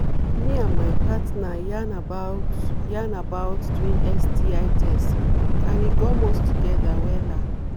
me and my partner yarn about yarn about doing sti test and e gum us together wella